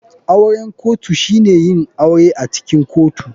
Auren kotu shine yin aure acikin kotu.